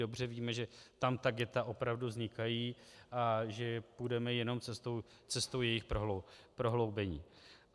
Dobře víme, že tam ta ghetta opravdu vznikají a že půjdeme jenom cestou jejich prohloubení.